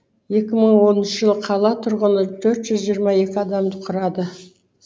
екі мың оныншы жылы қала тұрғыны төрт жүз жиырма екі адамды құрады